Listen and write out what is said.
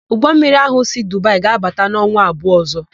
Ụgbọmmiri ahụ si Dubaị ga-abata n'ọnwa abụọ ọ̀zọ́.